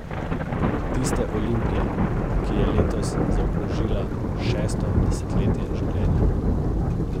Tiste Olimpije, ki je letos zaokrožila šesto desetletje življenja.